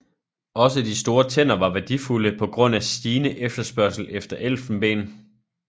Også de store tænder var værdifulde på grund af stigende efterspørgsel efter elfenben